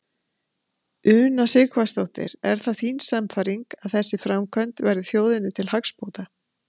Una Sighvatsdóttir: Er það þín sannfæring að þessi framkvæmd verði þjóðinni til hagsbóta?